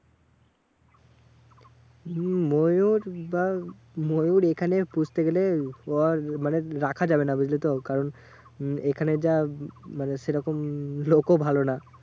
হম ময়ূর ময়ূর এখানে পুষতে গেলে মানে রাখা যাবে না বুঝলিতো? কারণ উম এখানে যা মানে সেরকম লোকও ভালো না।